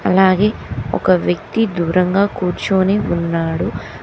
అలాగే ఒక వ్యక్తి దూరంగా కూర్చోని ఉన్నాడు.